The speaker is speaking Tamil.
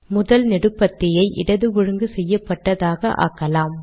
முதல் நெடுபத்தியை இடது ஒழுங்கு செய்யப்பட்டதாக ஆக்கலாம்